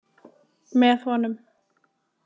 Með honum.